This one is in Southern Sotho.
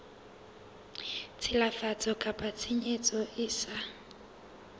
tshilafatso kapa tshenyo e sa